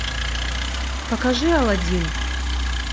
покажи аладдин